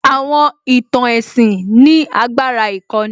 Àwọn ìtàn ẹ̀sìn ní agbára ìkọ́ni